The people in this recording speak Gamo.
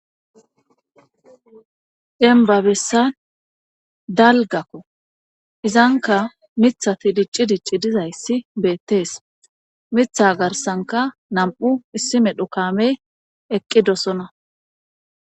Embabessan dalgakko izanka mithati dicci dicci dizayssi beettees mitha garsanka nam'u issi medhu kamey eqqi dosona.